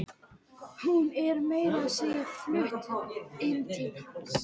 Hún er meira að segja flutt inn til hans.